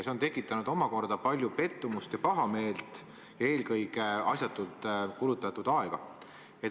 See on tekitanud palju pettumust ja pahameelt, eelkõige aga on asjatult aega kulutatud.